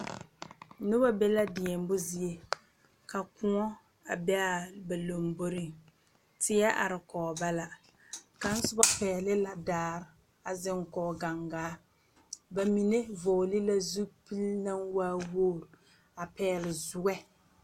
Noba be la deɛmo zie ka Kóɔ a be ba lamboriŋ tie are kɔge ba la kaŋ soba pɛgele la daare a zeŋ kɔge gaŋgaare ba mine eŋ la zupili naŋ waa woo a pɛgele zue